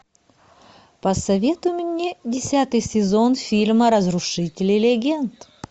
посоветуй мне десятый сезон фильма разрушители легенд